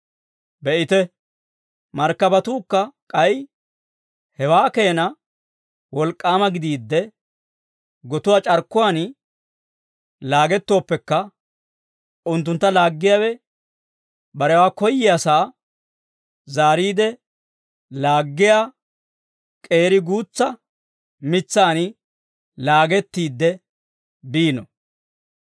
Be'ite, markkabatuukka k'ay hewaa keenaa wolk'k'aama gidiidde, gotuwaa c'arkkuwaan laagettoopekka, unttuntta laaggiyaawe barewaa koyyiyaasaa zaariide laaggiyaa k'eeri guutsaa mitsaan laagettiide biino.